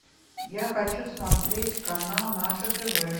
я хочу смотреть канал наше тв